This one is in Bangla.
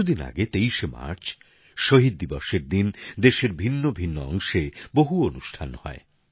কিছুদিন আগে ২৩শে মার্চ শহীদ দিবসের দিন দেশের ভিন্নভিন্ন অংশে বহু অনুষ্ঠান হয়